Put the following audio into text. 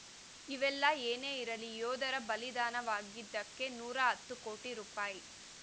ಇವೆಲ್ಲ ಏನೇ ಇರಲಿ ಯೋಧರು ಬಲಿದಾನವಾಗಿದ್ದಕ್ಕೆ ನೂರ ಹತ್ತು ಕೋಟಿ ರೂಪಾಯಿ